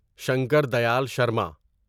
Shankar Dayal Sharma